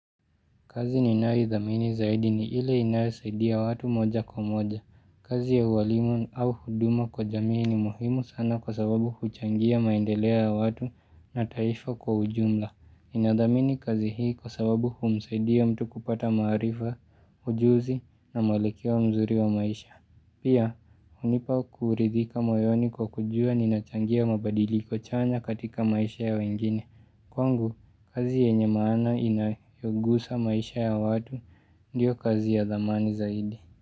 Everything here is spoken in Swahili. Kazi ninaidhamini zaidi ni ile inayosaidia watu moja kwa moja. Kazi ya uwalimu au huduma kwa jamii ni muhimu sana kwa sababu huchangia maendeleo ya watu na taifa kwa ujumla. Ninadhamini kazi hii kwa sababu humsaidia mtu kupata maarifa, ujuzi na mwelekeo mzuri wa maisha. Pia, hunipa kuridhika moyoni kwa kujua ninachangia mabadiliko chanya katika maisha ya wengine. Kwangu, kazi yenye maana inayogusa maisha ya watu, ndiyo kazi ya dhamani zaidi.